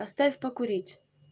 оставь покурить